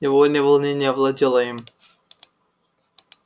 невольное волнение овладело им